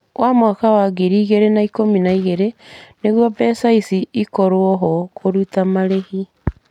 Wa mwaka wa ngiri igĩrĩ na ikũmi na igĩrĩ , nĩguo mbeca icio ikorũo ho kũruta marĩhi.